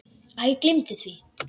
Æ, gleymdu því.